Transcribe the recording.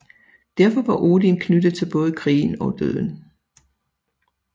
Derfor var Odin knyttet til både krigen og døden